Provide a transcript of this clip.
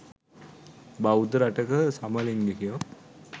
බෞද්ධ රටක සමලිංගිකයො